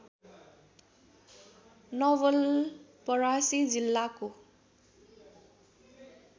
नवलपरासी जिल्लाको